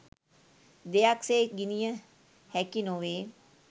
දෙයක් සේ ගිණිය හැකි නොවේ